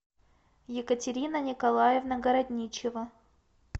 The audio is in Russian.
екатерина николаевна городничева